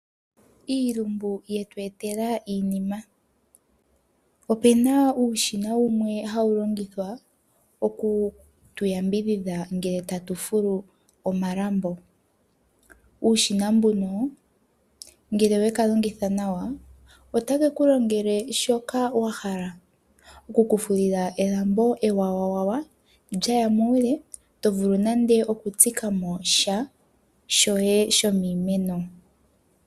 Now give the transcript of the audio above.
Iilumbu yetu etela iinima. Opena uushina wumwe hawu longithwa oku tuyambidhidha ngele tatu fulu omalambo. Uushina mbuno ngele wekalongitha nawa, ota keku longele shoka wahala, oku kufulila elambo ewawawawa lyaya muule tovulu nande oku tsikamo sha shoye shomiimeno.